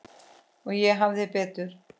Og ég hafði betur.